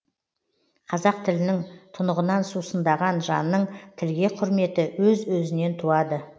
қазақ тілінің тұнығынан сусындаған жанның тілге құрметі өз өзінен туады